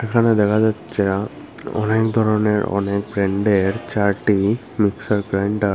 এখানে দেখা যাচ্ছে অনেক ধরনের অনেক ব্র্যান্ডের চারটি মিক্সার গ্রাইন্ডার ।